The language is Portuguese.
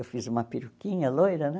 Eu fiz uma peruquinha loira, né?